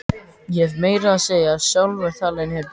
Ég hef meira að segja sjálfur talað inn í einn.